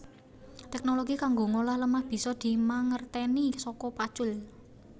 Teknologi kanggo ngolah lemah bisa dimangertèni saka pacul